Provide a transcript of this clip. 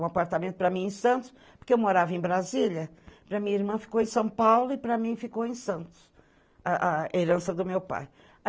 Um apartamento para mim em Santos, porque eu morava em Brasília, para minha irmã ficou em São Paulo e para mim ficou em Santos, a herança do meu pai.